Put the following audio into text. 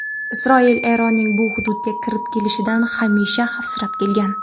Isroil Eronning bu hududga kirib kelishidan hamisha xavfsirab kelgan.